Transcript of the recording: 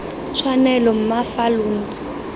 tshwanelo mma fa lo ntse